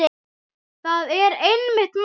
Það er einmitt málið.